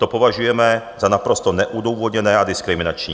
To považujeme za naprosto neodůvodněné a diskriminační.